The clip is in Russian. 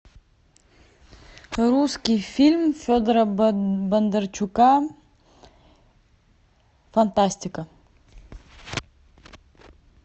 русский фильм федора бондарчука фантастика